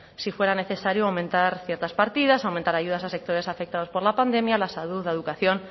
si fuera necesario aumentar ciertas partidas aumentar ayudas a sectores afectados por la pandemia la salud la educación